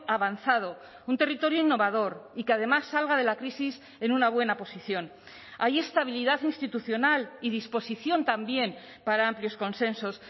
avanzado un territorio innovador y que además salga de la crisis en una buena posición hay estabilidad institucional y disposición también para amplios consensos